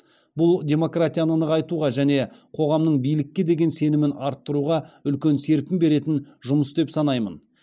бұл демократияны нығайтуға және қоғамның биілкке деген сенімін арттыруға үлкен серпін беретін жұмыс деп санаймын